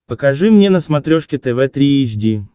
покажи мне на смотрешке тв три эйч ди